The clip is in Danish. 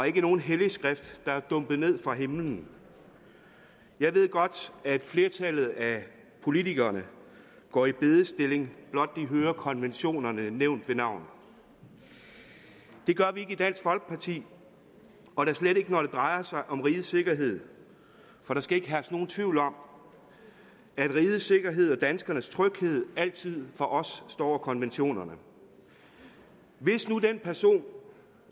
ikke nogen hellig skrift der er dumpet ned fra himlen jeg ved godt at flertallet af politikerne går i bedestilling blot de hører konventionerne nævnt ved navn det gør vi ikke i dansk folkeparti og da slet ikke når det drejer sig om rigets sikkerhed for der skal ikke herske nogen tvivl om at rigets sikkerhed og danskernes tryghed altid for os står over konventionerne hvis nu den person